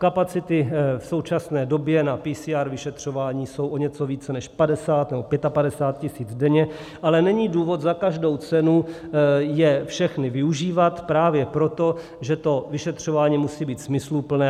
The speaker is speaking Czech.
Kapacity v současné době na PCR vyšetřování jsou o něco více než 50 nebo 55 tisíc denně, ale není důvod za každou cenu je všechny využívat právě proto, že to vyšetřování musí být smysluplné.